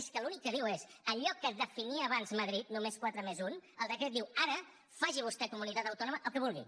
és que l’únic que diu és allò que definia abans madrid només quatre+un el decret diu ara faci vostè comunitat autònoma el que vulgui